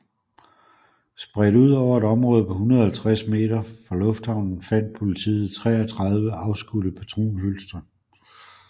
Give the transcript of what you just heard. Spredt ud over et område på 150 meter for lufthavnen fandt politiet 33 afskudte patronhylstre